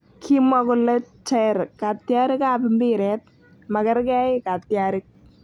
Kimwa kole ter katyarik ab mbiret, magargei katyarik